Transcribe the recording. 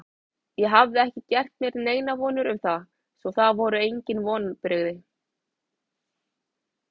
Ég hafði ekki gert mér neinar vonir um það, svo það voru engin vonbrigði.